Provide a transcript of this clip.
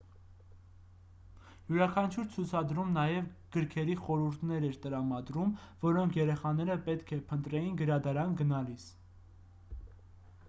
յուրաքանչյուր ցուցադրում նաև գրքերի խորհուրդներ էր տրամադրում որոնք երեխաները պետք է փնտրեին գրադարան գնալիս